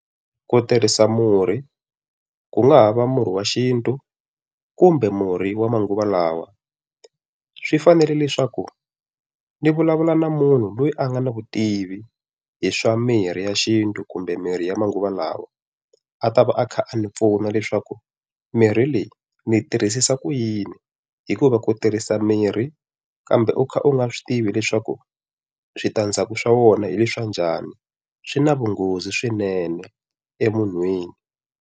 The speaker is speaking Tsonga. Ku tirhisa murhi, ku nga ha va murhi wa xintu kumbe murhi wa manguva lawa. Swi fanele leswaku ni vulavula na munhu loyi a nga na vutivi hi swa mirhi ya xintu kumbe mirhi ya manguva lawa, a ta va a kha a ni pfuna leswaku mirhi leyi ni yi tirhisisa ku yini hikuva ku u tirhisa mirhi kambe u kha u nga swi tivi leswaku switandzhaku swa wona hileswi swa njhani, swi na vunghozi swinene emunhwini.